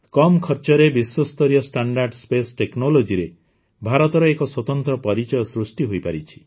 କମ ଖର୍ଚ୍ଚରେ ବିଶ୍ୱସ୍ତରୀୟ ଷ୍ଟାଣ୍ଡାର୍ଡ଼ ସ୍ପେସ୍ ଟେକ୍ନୋଲଜିରେ ଭାରତର ଏକ ସ୍ୱତନ୍ତ୍ର ପରିଚୟ ସୃଷ୍ଟି ହୋଇପାରିଛି